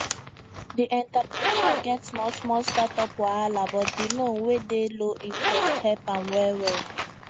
di entrepreneur get small small startup wahala but di loan wey dey low interest help am well well